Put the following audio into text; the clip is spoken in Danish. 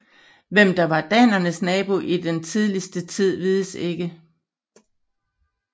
Hvem der var danernes nabo i den tidligste tid vides ikke